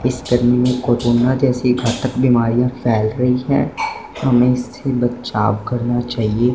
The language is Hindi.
इस गर्मी में कोरोना जैसी घातक बीमारियां फैल रही हैं हमें इससे बचाव करना चाहिए।